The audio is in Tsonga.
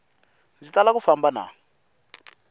ndzi tala ku famba na